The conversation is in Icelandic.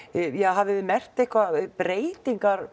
hafið þið merkt einhverjar breytingar